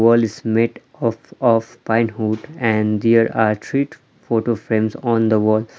Wall is made of of pine hood and there are treet photo frames on the wall .